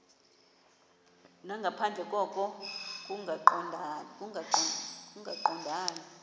nangaphandle koko kungaqondani